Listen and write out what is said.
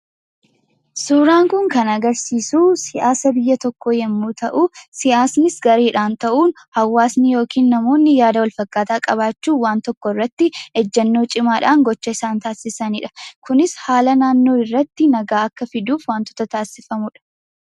Suuraan kun kan agarsiisu siyaasa biyya tokkoo yommuu ta'u, siyaasnis gareedhaan ta'uun hawaasni yookiin namoonni yaada walfakkaataa qabaachuun waan tokkorratti ejjennoo cimaadhaan gocha isaan taasisanidha. Kunis haala naannoo irratti nagaa akka fidaniif wantoota taasifamudha.